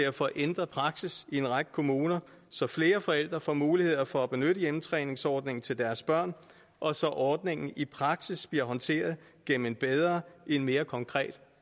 at få ændret praksis i en række kommuner så flere forældre får mulighed for at benytte hjemmetræningsordningen til deres børn og så ordningen i praksis bliver håndteret gennem en bedre en mere konkret